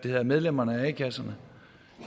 af medlemmerne af a kasserne